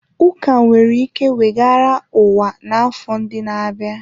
Ụka nwere ike weghara ụwa n'afọ ndị na-abịa.